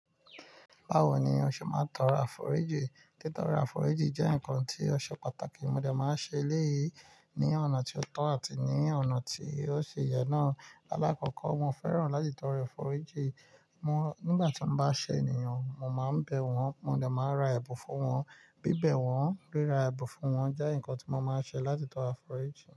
Bawo ni o ṣe máa ń tọrọ àforíjì? Títọ́rọ àforíjì jẹ́ nkan tí ó ṣe pàtàkì, mo dẹ̀ máa ń ṣe eléyìí ní ọ̀nà tí ó tọ́ àti ní ọ̀nà tí ó si yẹ náà. Láàkọ́kọ́, mo fẹ́ràn láti tọrọ àforíjì. Nígbà tí mo bá ṣe ènìyàn, mo máa ń bẹ̀ wọ́n, mo dẹ̀ máa ra ẹ̀bùn fún wọn, bíbẹ̀ wọ́n, ríra ẹ̀bùn fún wọn jẹ́ nǹkan tí mo máa ń ṣe láti tọrọ àforíjì.